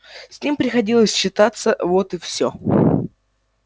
с ним приходилось считаться вот и всё